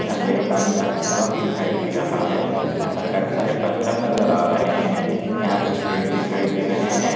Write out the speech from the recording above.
झरने का पानी काफी साफ दिखाई दे रहा है यहाँ पर काफी सारे पत्थर नजर आ रहे है यहाँ कुछ पेड़ दिखाई दे रहे है।